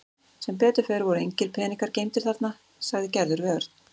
Sem betur fer voru engir peningar geymdir þarna sagði Gerður við Örn.